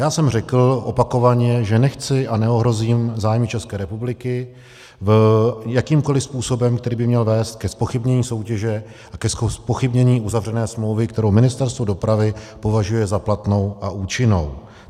Já jsem řekl opakovaně, že nechci a neohrozím zájmy České republiky jakýmkoli způsobem, který by měl vést ke zpochybnění soutěže a ke zpochybnění uzavřené smlouvy, kterou Ministerstvo dopravy považuje za platnou a účinnou.